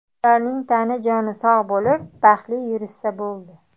Ularning tani-joni sog‘ bo‘lib, baxtli yurishsa bo‘ldi.